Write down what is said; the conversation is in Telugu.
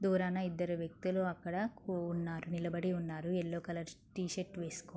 దూరాన ఇద్దరు వ్యక్తులు అక్కడ కు-ఉన్నారు నిలబడి ఉన్నారు. యెల్లో కలర్ షి-టి -షర్ట్ వేసుకుని --